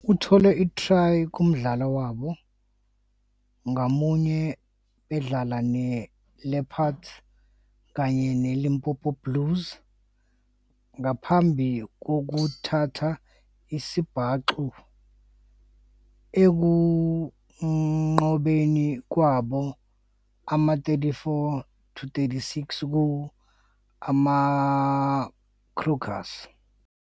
Uthole i-try kumdlalo wabo ngamunye bedlala ne-ILeopards XV kanye ne-ILimpopo Blue Bulls ngaphambi kokuthola isibhaxu ekunqobeni kwabo ama-34-64 ku- AmaGriquas.